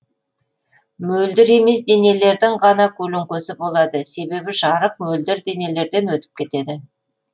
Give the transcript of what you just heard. мөлдір емес денелердің ғана көлеңкесі болады себебі жарық мөлдір денелерден өтіп кетеді